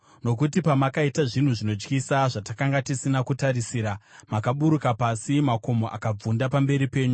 Nokuti pamakaita zvinhu zvinotyisa zvatakanga tisina kutarisira, makaburuka pasi, makomo akabvunda pamberi penyu.